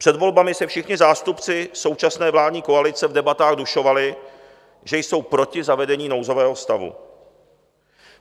Před volbami se všichni zástupci současné vládní koalice v debatách dušovali, že jsou proti zavedení nouzového stavu.